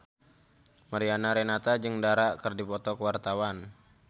Mariana Renata jeung Dara keur dipoto ku wartawan